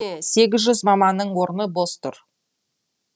сегіз жүз маманның орны бос тұр